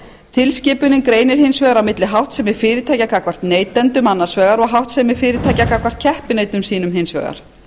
tilskipunin greinir hins vegar á milli háttsemi fyrirtækja gagnvart neytendum annars vegar og háttsemi fyrirtækja gagnvart keppinautum sínum hins vegar